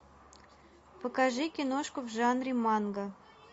покажи киношку в жанре манга